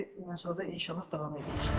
İndi ondan sonra inşallah davam edəcəm.